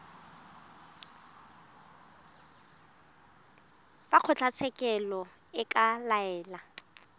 fa kgotlatshekelo e ka laela